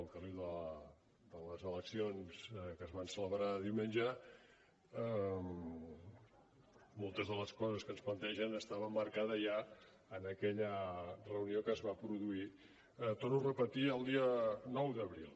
al carril de les eleccions que es van celebrar diumenge moltes de les coses que ens plantegen estaven marcades ja en aquella reunió que es va produir torno a repetir el dia nou d’abril